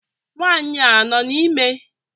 Nwanyị a nọ na ime?